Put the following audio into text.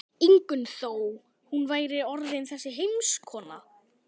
Ingunn þó hún væri orðin þessi heimskona.